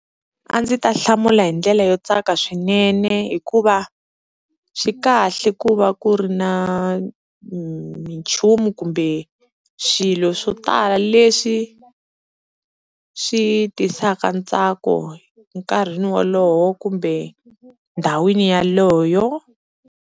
A ndzi ta hlamula hi ndlela yo tsaka swinene hikuva swi kahle ku va ku ri na minchumu kumbe swilo swo tala leswi swi tisaka ntsako nkarhini wolowo kumbe ndhawini yaleyo.